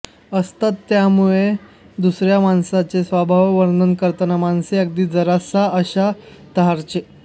असतात त्यामुळे दुसर्या माणसाचे स्वभाववर्णन करताना माणसे अगदी जरासा अशा तर्हांचे